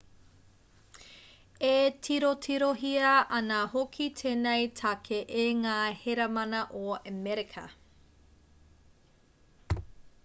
e tirotirohia ana hoki tēnei take e ngā heramana o amerika